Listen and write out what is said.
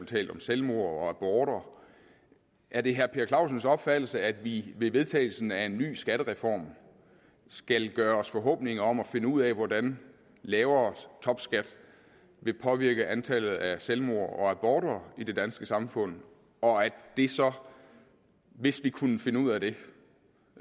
talt om selvmord og aborter er det herre per clausens opfattelse at vi ved vedtagelsen af en ny skattereform skal gøre os forhåbninger om at finde ud af hvordan lavere topskat vil påvirket antallet af selvmord og aborter i det danske samfund og at det så hvis vi kunne finde ud af det